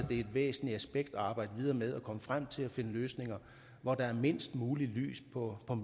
det er et væsentligt aspekt at arbejde videre med altså at komme frem til at finde løsninger hvor der er mindst muligt lys på